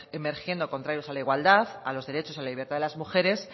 emergiendo contrarios a la igualdad a los derechos y a la libertad de las mujeres